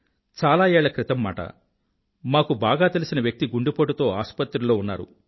చాల ఏళ్ళ క్రితం మాట మాకు బాగా తెలిసిన వ్యక్తి గుండెపోటుతో ఆసుపత్రిలో ఉన్నారు